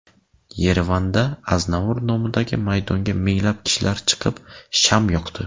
Yerevanda Aznavur nomidagi maydonga minglab kishilar chiqib, sham yoqdi.